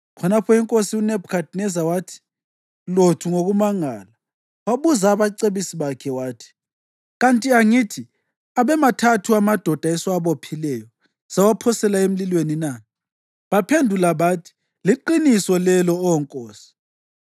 Khonapho inkosi uNebhukhadineza wathi lothu ngokumangala, wabuza abacebisi bakhe wathi, “Kanti angithi abemathathu amadoda esiwabophileyo sawaphosela emlilweni na?” Baphendula bathi, “Liqiniso lelo, Oh nkosi.”